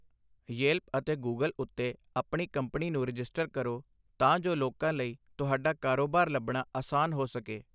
Yelp ਅਤੇ Google ਉੱਤੇ ਆਪਣੀ ਕੰਪਨੀ ਨੂੰ ਰਜਿਸਟਰ ਕਰੋ, ਤਾਂ ਜੋ ਲੋਕਾਂ ਲਈ ਤੁਹਾਡਾ ਕਾਰੋਬਾਰ ਲੱਭਣਾ ਅਸਾਨ ਹੋ ਸਕੇ।